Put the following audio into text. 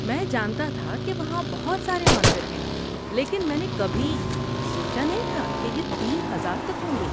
میں جانتا تھا کہ وہاں بہت سارے مندر ہیں لیکن میں نے کبھی سوچا نہیں تھا کہ یہ تین ہزار تک ہوں گے